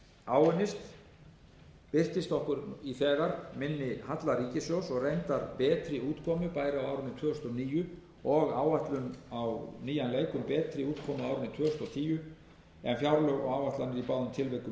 áunnist birtist okkur í þegar minni halla ríkissjóðs og reyndar betri útkomu bæði á árinu tvö þúsund og níu og áætlun á nýjan leik um betri útkomu á árinu tvö þúsund og tíu en fjárlög og áætlanir í báðum tilvikum höfðu gert ráð